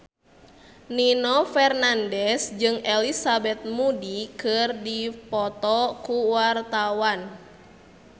Nino Fernandez jeung Elizabeth Moody keur dipoto ku wartawan